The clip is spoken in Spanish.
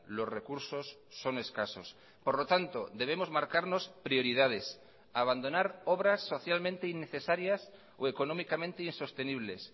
los recursos son escasos por lo tanto debemos marcarnos prioridades abandonar obras socialmente innecesarias o económicamente insostenibles